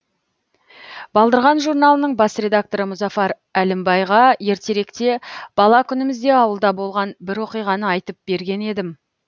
балдырған журналының бас редакторы мұзафар әлімбайға ертеректе бала күнімізде ауылда болған бір оқиғаны айтып берген едім